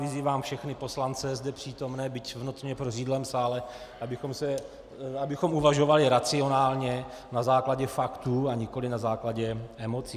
Vyzývám všechny poslance zde přítomné, byť v notně prořídlém sále, abychom uvažovali racionálně, na základě faktů, a nikoli na základě emocí.